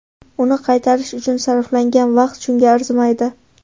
Uni qaytarish uchun sarflangan vaqt shunga arzimaydi.